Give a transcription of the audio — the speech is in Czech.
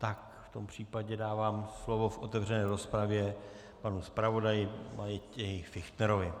Tak v tom případě dávám slovo v otevřené rozpravě panu zpravodaji Matěji Fichtnerovi.